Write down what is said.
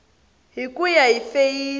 hi ku ya hi feyisi